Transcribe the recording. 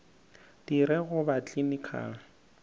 di re go ba clinical